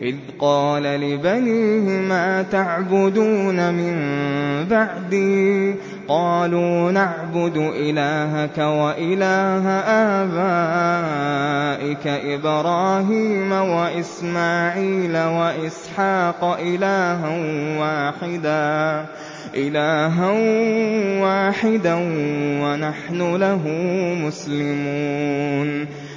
إِذْ قَالَ لِبَنِيهِ مَا تَعْبُدُونَ مِن بَعْدِي قَالُوا نَعْبُدُ إِلَٰهَكَ وَإِلَٰهَ آبَائِكَ إِبْرَاهِيمَ وَإِسْمَاعِيلَ وَإِسْحَاقَ إِلَٰهًا وَاحِدًا وَنَحْنُ لَهُ مُسْلِمُونَ